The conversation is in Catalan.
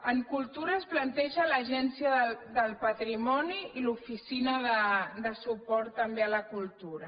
en cultura es planteja l’agència del patrimoni i l’oficina de suport també a la cultura